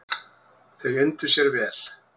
Þau undu sér vel.